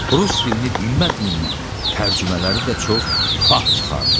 Rus dilini bilmədiyindən tərcümələri də çox tüfaq çıxardı.